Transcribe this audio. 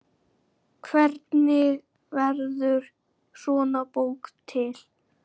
Hvernig verður svona bók til?